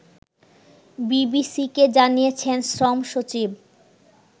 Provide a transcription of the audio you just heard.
বিবিসিকে জানিয়েছেন শ্রম সচিব